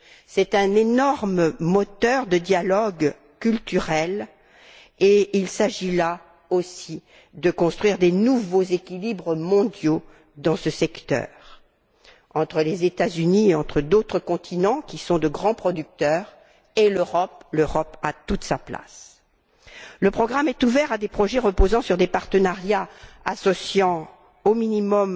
C'est un énorme moteur de dialogue culturel et il s'agit, là aussi, de mettre en place de nouveaux équilibres mondiaux dans ce secteur entre les États Unis et entre d'autres continents, qui sont de grands producteurs, et l'Europe, qui a toute sa place. Le programme est ouvert à des projets reposant sur des partenariats associant au minimum